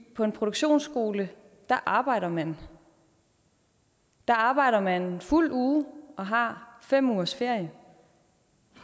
på en produktionsskole arbejder man der arbejder man en fuld uge og har fem ugers ferie